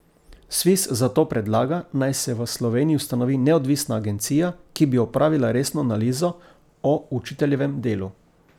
Sviz zato predlaga, naj se v Sloveniji ustanovi neodvisna agencija, ki bi opravila resno analizo o učiteljevem delu.